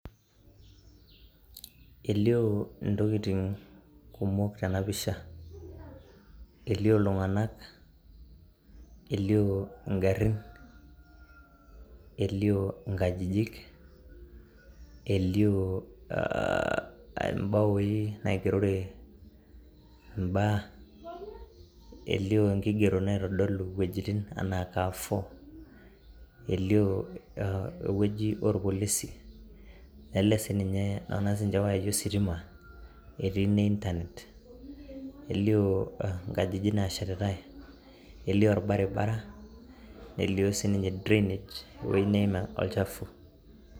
elio intokitin kumok tena pisha elio igarin, elio inkajijik ,elio ibaoi naigerore ibaa ,elio inkigerot naitodolu iwejitin anaa Carrefour, elio eweji oopolisi, nona siininche iwayai ositima ,etii ine internet, elio ingajikjik nashetitae elio orbaribara ,nelio siininye drainage ewei neim olchafu.